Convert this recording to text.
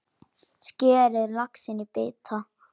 Skerið laxinn í bita.